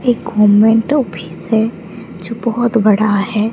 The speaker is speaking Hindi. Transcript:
ये घुमन्तु फिश है जो बहोत बड़ा है।